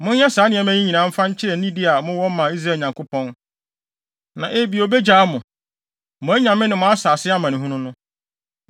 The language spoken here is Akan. Monyɛ saa nneɛma yi nyinaa mfa nkyerɛ nidi a mowɔ ma Israel Nyankopɔn. Na ebia, obegyaa mo, mo anyame ne mo asase amanehunu no.